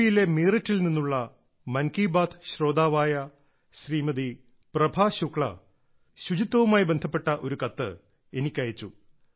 പിയിലെ മീററ്റിൽ നിന്നുള്ള മൻ കി ബാത്ത് ശ്രോതാവായ ശ്രീമതി പ്രഭ ശുക്ല ശുചിത്വവുമായി ബന്ധപ്പെട്ട ഒരു കത്ത് എനിക്ക് അയച്ചു